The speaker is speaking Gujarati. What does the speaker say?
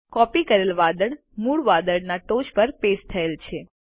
કોપી કરેલ વાદળ મૂળ વાદળના ટોચ પર પેસ્ટ થયેલ છે